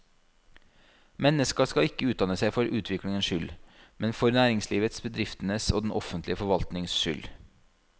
Mennesket skal ikke utdanne seg for egen utviklings skyld, men for næringslivets, bedriftenes og den offentlige forvaltningens skyld.